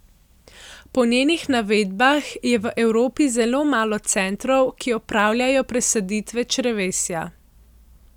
Po njenih navedbah je v Evropi zelo malo centrov, ki opravljajo presaditve črevesja.